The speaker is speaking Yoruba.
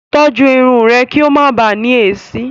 Tọ́jú irun rẹ kí o máa bàá ní èéṣí.